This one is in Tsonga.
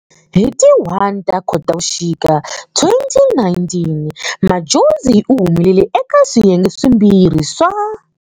Hi ti 1 ta Khotavuxika, 2019, Madjozi uhumelele eka swiyenge swimbirhi swa.